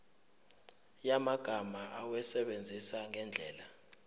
yamagama awasebenzise ngendlela